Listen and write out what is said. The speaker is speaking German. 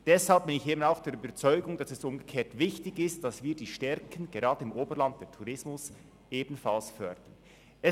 Deshalb bin ich der Überzeugung, dass es umgekehrt wichtig ist, die Stärken des Oberlands, den Tourismus, ebenfalls zu fördern.